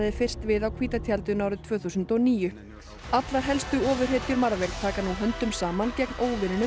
fyrst við á hvíta tjaldinu árið tvö þúsund og níu allar helstu ofurhetjur taka nú höndum saman gegn óvininum